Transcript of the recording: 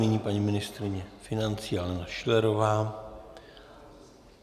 Nyní paní ministryně financí Alena Schillerová.